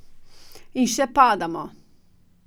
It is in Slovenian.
In še padamo.